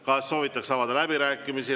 Kas soovitakse avada läbirääkimisi?